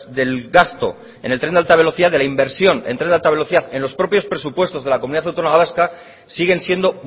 del gasto en el tren de alta velocidad de la inversión del tren de alta velocidad en los propios presupuestos de la comunidad autónoma vasca siguen siendo